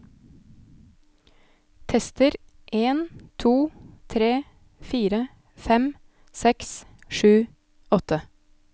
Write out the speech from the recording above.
Tester en to tre fire fem seks sju åtte